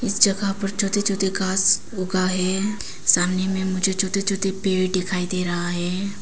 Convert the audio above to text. इस जगह पर छोटे छोटे घास उगा हैं सामने मुझे छोटे छोटे पेड़ दिखाई दे रहा है।